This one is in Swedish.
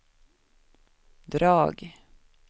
drag